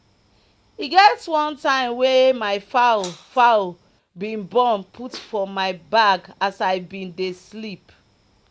e get one time wey my fowl fowl bin born put for my bag as i bin dey sleep